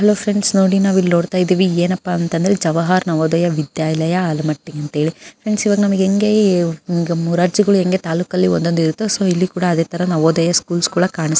hello friends ನೋಡಿ ನಾವಿಲ್ ನೋಡ್ತಾ ಇದ್ದೀವಿ ಏನಪ್ಪಾ ಅಂದ್ರೆ ಜವಾಹರ್ ನವೋದಯ ವಿದ್ಯಾಲಯ ಆಲ್ಮಟ್ಟಿ ಫ್ರೆಂಡ್ಸ್ ಇವೆಲ್ಲ ಹೆಂಗೆ ಮುರಾರ್ಜಿ ಎಂಗೆ ತಾಲೂಕಲ್ಲಿ ಇರ್ತವೆ ಸೊ ಇಲ್ಲಿ ಕೂಡ ಅದೇತರ ನವೋದಯ ಸ್ಕೂಲ್ಸ್ ಕೂಡ ಕಾಣಿಸ್ --